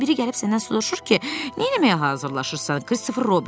Biri gəlib səndən soruşur ki, nə eləməyə hazırlaşırsan, Kristofer Robin?